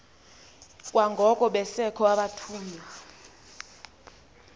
kwangoko besekho abathunywa